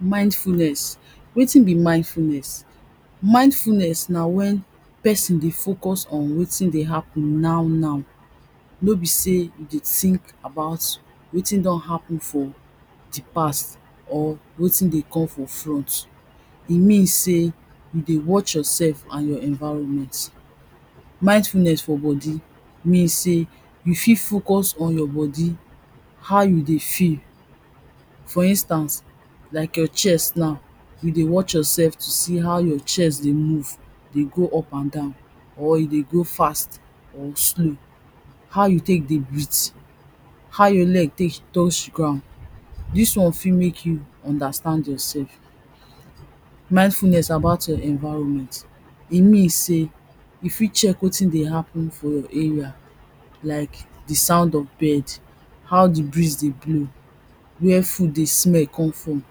Mindfulness. Wetin be mindfulness? Mindfulness na wen person dey focus on wetin dey happen now now. Nor be sey you dey think about wetin don happen for di past or wetin dey come from front. E mean sey, you dey watch yourself and your environment. Mindfulness for body, mean sey you fit focus on your body, how you dey feel. For instance, like your chest now you dey watch yourself to see how your chest dey move dey go up and down, or e dey go fast or slow. How you take dey breathe, how your leg take touch ground, dis one fit make you understand yourself. Mindfulness about your environment, e mean sey you fit check wetin dey happen for your environment, like sound of bird, how di breeze dey blow, where food dey smell come from,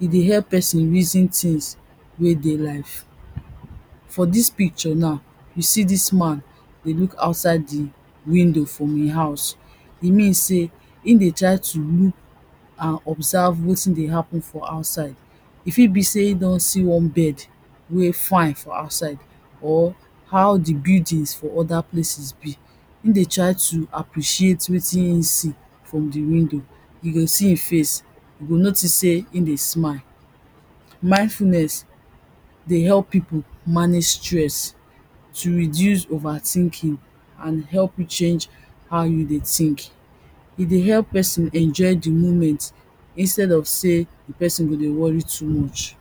e dey help person reason things wey dey life. For dis picture now, you see dis man dey look outside di window from im house, e mean sey, im dey try to look and observe wetin dey happen from outside. E fit be sey im don see one bird wen fine for outside. Or how di buildings for oda place be, im dey try to appreciate wetin im see, from di window. you go see im face you go notice sey, im dey smile. Mindfulness dey help people manage stress, to reduce over thinking ad help you change, how you dey think. you go notice sey, im dey smile. Mindfulness dey help people manage stress, to reduce over thinking ad help you change, how you dey think.